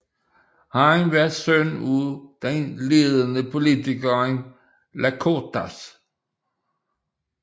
Han var søn af den ledende politiker Lykortas